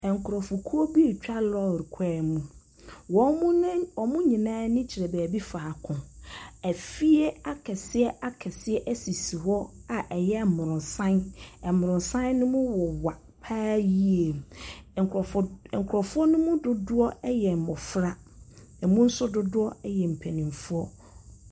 Nkurɔfokuo bi retwa lorry kwan bi mu. Wɔn ne nyinaa ani kyerɛ baabi faako. Afie akɛseakɛseɛ sisi hɔ a ɛyɛ mmorosan. Mmorosan no mu wowa pa ara yie. Nkurɔfoɔ d nkurɔfoɔ no mu dodoɔ no mu dodoɔ yɛ mmɔfra, emu nso dodoɔ yɛ npanimfoɔ.